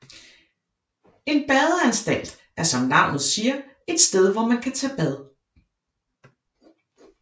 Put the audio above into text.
En badeanstalt er som navnet siger et sted hvor man kan tage bad